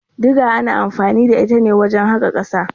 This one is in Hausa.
Diga ana anfani da ita ne wajen haƙa ƙasa.